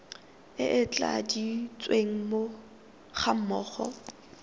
e e tladitsweng ga mmogo